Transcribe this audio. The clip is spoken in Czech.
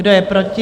Kdo je proti?